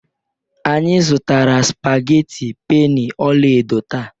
Anyị zụtara spaghetti penny ọla edo taa